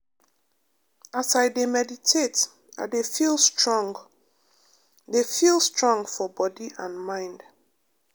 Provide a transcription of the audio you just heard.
as i dey meditate i dey feel strong dey feel strong for body and mind.